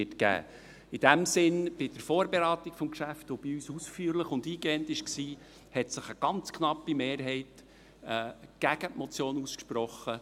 In dem Sinn: Bei der Vorberatung des Geschäfts, die bei uns ausführlich und eingehend war, hat sich eine ganz knappe Mehrheit gegen die Motion ausgesprochen.